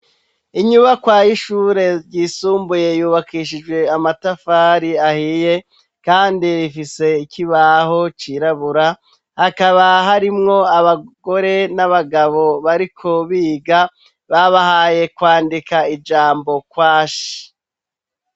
Inyubakwa y'ishure ryisumbuye yubakishijwe amatafari ahiye, kandi rifise ikibaho cirabura, hakaba harimwo abagore n'abagabo bariko biga, babahaye kwandika ijambo "kwashi".